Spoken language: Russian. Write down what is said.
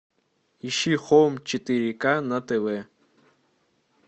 ищи хоум четыре ка на тв